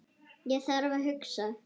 Ég þarf að hugsa.